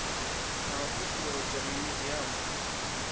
na u ṱuṱuwedzwa mimiziamu i